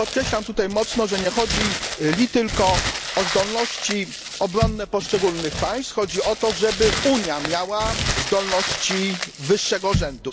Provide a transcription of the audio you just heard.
Podkreślam tutaj z mocą, że nie chodzi li tylko o zdolności obronne poszczególnych państw, chodzi o to, żeby Unia miała zdolności wyższego rzędu.